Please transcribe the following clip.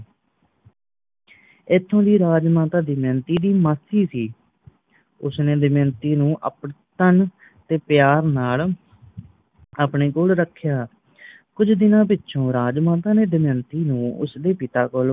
ਇਥੌ ਦੀ ਰਾਜਮਾਤਾ ਦਮਯੰਤੀ ਦੀ ਮਾਸੀ ਸੀਂ ਉਸਨੇ ਦਮਯੰਤੀ ਨੂੰ ਅਪਨਤੰਨ ਤੇ ਪਿਆਰ ਨਾਲ ਆਪਣੇ ਕੋਲ ਰੱਖਿਆ ਕੁੱਜ ਦਿਨਾਂ ਪਿੱਛੋਂ ਰਾਜਮਾਤਾ ਨੇ ਦਮਯੰਤੀ ਨੂੰ ਉਸਦੇ ਪਿਤਾ ਕੋਲ